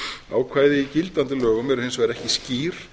ákvæði í gildandi lögum eru hins vegar ekki skýr